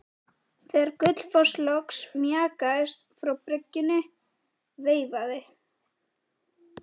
Þegar Gullfoss loks mjakaðist frá bryggjunni veifaði